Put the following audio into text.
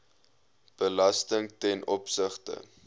belasting ten opsigte